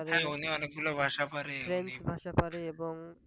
French ভাষা পারে। এবং